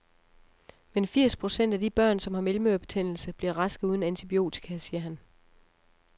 Men firs procent af de børn, som har mellemørebetændelse, bliver raske uden antibiotika, siger han.